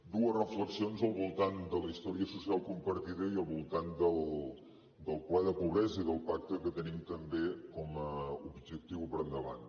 dues reflexions al voltant de la història social compartida i al voltant del ple de pobresa i del pacte que tenim també com a objectiu per endavant